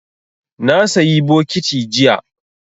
Na sayi bokiti jiya